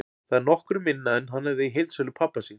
Það er nokkru minna en hann hafði í heildsölu pabba síns.